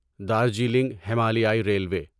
دارجیلنگ ہمالیائی ریلوے